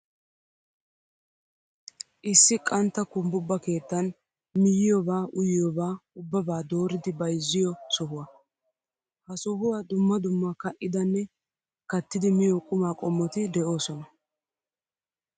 Issi qantta kumbbubba keetten miyiyoobaa uyiyoobaa ubbaabaa dooridi bayizziyoo sohuwaa. Ha sohuwaa dumma dumma ka'idanne kattidi miyoo qumaa qommoti doosona.